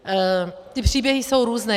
Ty příběhy jsou různé.